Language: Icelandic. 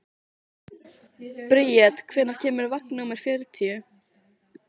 Bríet, hvenær kemur vagn númer fjörutíu?